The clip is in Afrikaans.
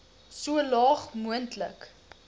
so laag moontlik